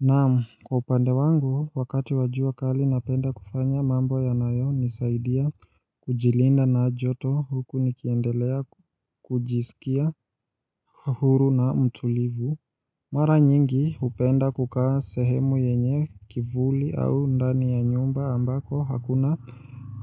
Naam kwa upande wangu wakati wa jua kali napenda kufanya mambo yanayonisaidia kujilinda na joto huku nikiendelea kujisikia huru na mtulivu Mara nyingi hupenda kukaa sehemu yenye kivuli au ndani ya nyumba ambako hakuna